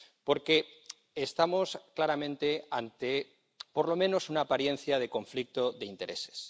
porque estamos claramente ante, por lo menos, una apariencia de conflicto de intereses.